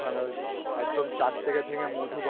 যায় কিন্তু ওখানে ওই একদম চাক থেকে ভেঙে মধু